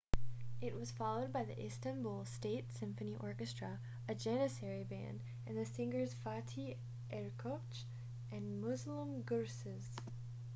it was followed by the istanbul state symphony orchestra a janissary band and the singers fatih erkoç and müslüm gürses